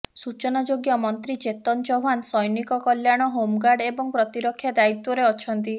ସୂଚନାଯୋଗ୍ୟ ମନ୍ତ୍ରୀ ଚେତନ ଚୌହାନ ସୌନିକ କଲ୍ୟାଣ ହୋମଗାର୍ଡ ଏବଂ ପ୍ରତିରକ୍ଷା ଦାୟିତ୍ବରେ ଅଛନ୍ତି